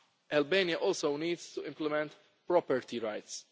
Albania also needs to implement property rights.